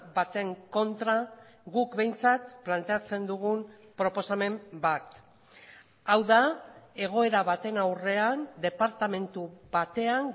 baten kontra guk behintzat planteatzen dugun proposamen bat hau da egoera baten aurrean departamentu batean